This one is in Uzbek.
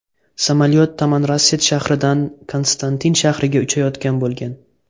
Samolyot Tamanrasset shahridan Konstantin shahriga uchayotgan bo‘lgan.